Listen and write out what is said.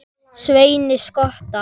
Sveini skotta.